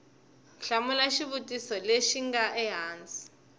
hlamula xivutiso lexi nga ehansi